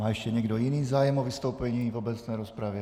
Má ještě někdo jiný zájem o vystoupení v obecné rozpravě?